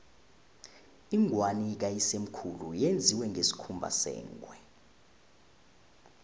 ingwani kayisemkhulu yenziwe ngesikhumba sengwe